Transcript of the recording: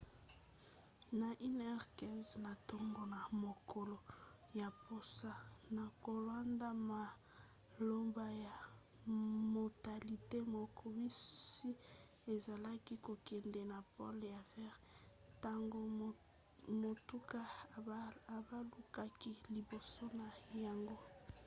na 1:15 na ntongo na mokolo ya poso na kolanda maloba ya motatoli moko bisi ezalaki kokende na pole ya vert ntango motuka ebalukaki liboso na yango